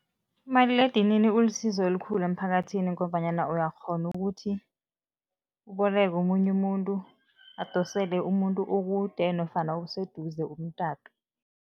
Umaliledinini ulisizo elikhulu emphakathini ngombanyana uyakghona ukuthi uboleke omunye umuntu, adosele umuntu okude nofana oseduze umtato.